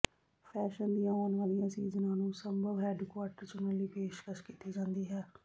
fashion ਦੀਆਂ ਆਉਣ ਵਾਲੀਆਂ ਸੀਜ਼ਨਾਂ ਨੂੰ ਸੰਭਵ ਹੈੱਡਕੁਆਰਟਰ ਚੁਣਨ ਲਈ ਪੇਸ਼ਕਸ਼ ਕੀਤੀ ਜਾਂਦੀ ਹੈ